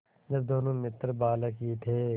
जब दोनों मित्र बालक ही थे